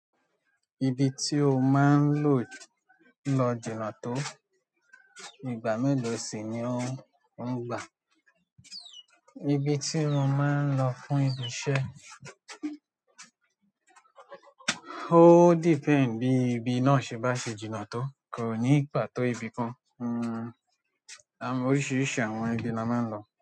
Ibi tí o máa ń lò lọ jìnà tó, ìgbà mélòó sì ni ó ń, ó ń gbà? Ibi tí mo máa ń lọ fún ibi iṣẹ́, ó depend bí ibi náà ṣe bá ṣe jìnà tó, kò ní ìpàtó ibi kan. Hun, àwọn oríṣiríṣi àwọn ibi ni a máa ń lo.